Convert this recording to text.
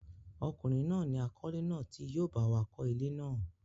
ọkùnrin náà ni àkọ́lé náà tí yóò báwa kọ́ ilé náà.